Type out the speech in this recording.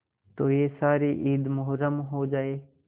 तो यह सारी ईद मुहर्रम हो जाए